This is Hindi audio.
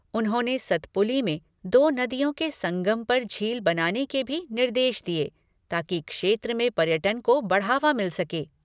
उन्होंने सतपुली में दो नदियों के संगम पर झील बनाने के भी निर्देश दिये ताकि क्षेत्र में पर्यटन को बढ़ावा मिल सके।